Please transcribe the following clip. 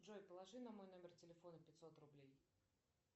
джой положи на мой номер телефона пятьсот рублей